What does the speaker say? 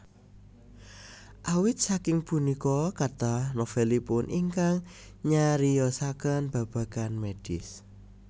Awit saking punika kathah novelipun ingkang nyariyosaken babagan medis